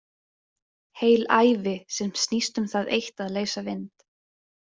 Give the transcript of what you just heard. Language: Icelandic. Heil ævi sem snýst um það eitt að leysa vind.